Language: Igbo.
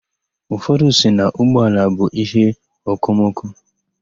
Ụfọdụ sị na ụgbọala bụ íhéokomoko.